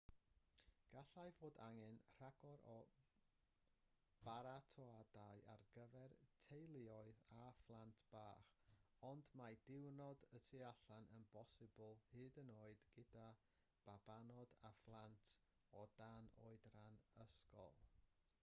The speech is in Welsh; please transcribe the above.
gallai fod angen rhagor o baratoadau ar gyfer teuluoedd a phlant bach ond mae diwrnod y tu allan yn bosibl hyd yn oed gyda babanod a phlant o dan oedran ysgol